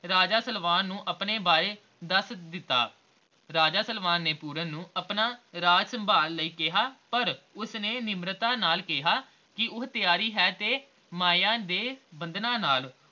ਰਾਜਾ ਸਲਵਾਨ ਨੂੰ ਆਪਣੇ ਬਾਰੇ ਦੱਸ ਦਿੱਤਾ l ਰਾਜਾ ਸਲਵਾਨ ਨੇ ਪੂਰਨ ਨੂੰ ਆਪਣਾ ਰਾਜ ਸੰਭਾਲ ਲਈ ਕਿਹਾ ਪਰ ਉਸਨੇ ਨਿਮਰਤਾ ਨਾਲ ਕਿਹਾ ਕੇ ਉਹ ਹੈ ਤਾ ਮਾਇਆ ਦੇ ਬੰਧਨਾਂ ਨਾਲ